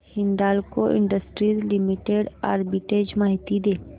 Hindalco industries limited arbitrage माहिती दे